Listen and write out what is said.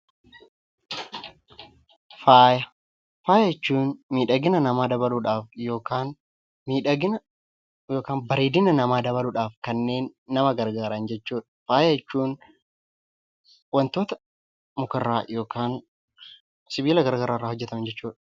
Faaya. Faaya jechuun miidhagina namaa dabaluudhaaf yookiin bareedinaa namaa dabaluudhaaf kanneen nama gargaaran jechuudha. Faaya jechuun wantoota muka irraa yookiin sibila garaa garaa irraa hojjetaman jechuu dha.